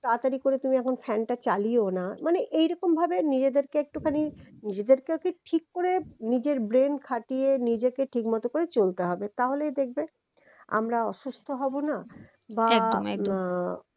তাড়াতাড়ি করে তুমি এখন fan টা চালিও না মানি এই রকমভাবে নিজেদেরকে একটুখানি নিজেদেরকে ও কে ঠিক করে নিজের brain খাটিয়ে নিজেকে ঠিকমতন করে চলতে হবে তাহলেই দেখবে আমরা অসুস্থ হবো না বা আহ